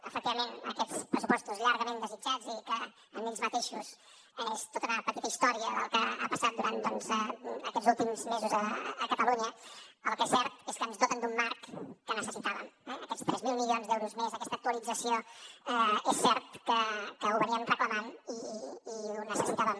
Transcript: efectivament aquests pressupostos llargament desitjats i que en ells mateixos són tota una petita història del que ha passat durant doncs aquests últims mesos a catalunya el que és cert és que ens doten d’un marc que necessitàvem eh aquests tres mil milions d’euros més aquesta actualització és cert que la reclamàvem i la necessitàvem